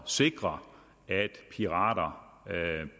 sikre at pirater